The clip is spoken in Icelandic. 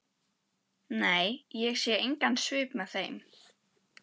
Nei, ég sé engan svip með þeim.